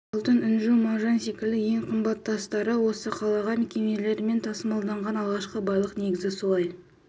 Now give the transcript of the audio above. алтын інжу маржан секілді ең қымбат тастары осы қалаға кемелермен тасымалданған алғашқы байлық негізі солай